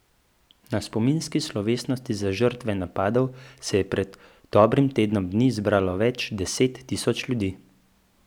Na spominski slovesnosti za žrtve napadov se je pred dobrim tednom dni zbralo več deset tisoč ljudi.